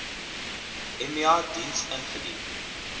emia diens ingedien